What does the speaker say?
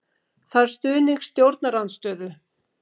Þarf stuðning stjórnarandstöðu